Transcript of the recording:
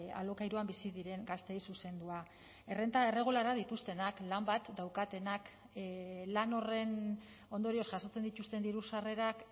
alokairuan bizi diren gazteei zuzendua errenta irregularrak dituztenak lan bat daukatenak lan horren ondorioz jasotzen dituzten diru sarrerak